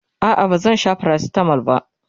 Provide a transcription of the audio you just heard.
a'a ba zan Sha paracetamol ba